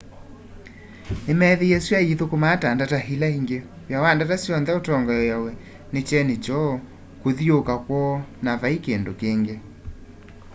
ni meethie sua yithũkũmaa ta ndata ila ingi wia wa ndata syonthe utongoeawa ni kyeni kyoo kuthiuuka kwoo na vai kindu kingi